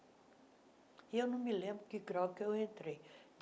E eu não me lembro que grau que eu entrei.